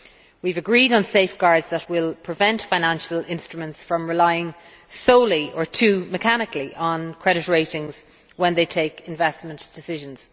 We have agreed on safeguards that will prevent financial instruments from relying solely or too mechanically on credit ratings when they take investment decisions.